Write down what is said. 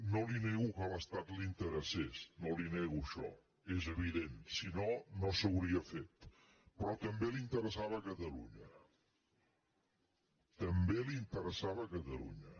no li nego que a l’estat li interessés no li nego això és evident si no no s’hauria fet però també li interessava a catalunya també li interessava a catalunya